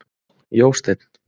Jósteinn